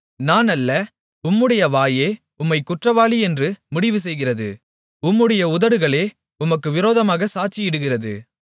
நான் அல்ல உம்முடைய வாயே உம்மைக் குற்றவாளி என்று முடிவு செய்கிறது உம்முடைய உதடுகளே உமக்கு விரோதமாகச் சாட்சியிடுகிறது